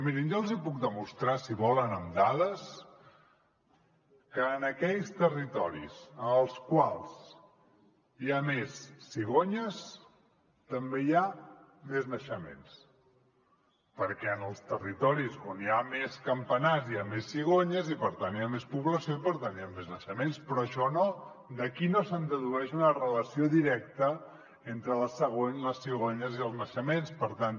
mirin jo els hi puc demostrar si volen amb dades que en aquells territoris en els quals hi ha més cigonyes també hi ha més naixements perquè en els territoris on hi ha més campanars hi ha més cigonyes i per tant hi ha més població i per tant hi ha més naixements però d’aquí no se’n dedueix una relació directa entre les cigonyes i els naixements per tant